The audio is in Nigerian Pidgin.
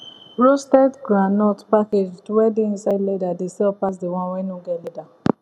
roasted groundnut packaged wey dey inside leather dey sell pass the one wey no get leather